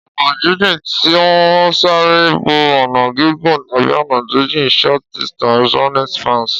Ọ̀nà jíjìn tí ó ń sáré bo ọ̀nà gígùn tàbí ọ̀nà jíjìn. Short-distance running spans